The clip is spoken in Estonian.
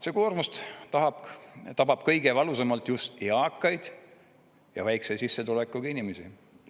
See koormus tabab kõige valusamalt just eakaid ja väikese sissetulekuga inimesi.